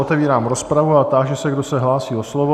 Otevírám rozpravu a táži se, kdo se hlásí o slovo?